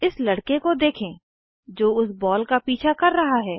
इस लड़के को देखें जो उस बॉल का पीछा कर रहा है